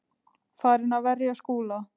Farinn að verja Skúla!